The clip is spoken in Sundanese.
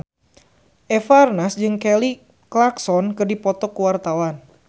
Eva Arnaz jeung Kelly Clarkson keur dipoto ku wartawan